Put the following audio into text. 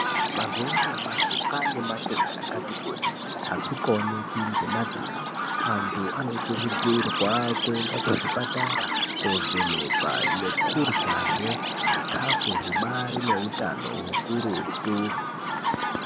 Mazuva anyamashi kwane matenda akati kuti asikaoneki ngemadziso antu anokurudzirwa kuenda kuzvipatara kovhenekwa nekuryahe zvikafu zvibarine utano ukurutu .